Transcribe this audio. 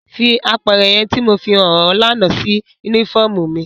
Fi apẹrẹ yẹn ti Mo fihan ọ lana si unifọmú mi!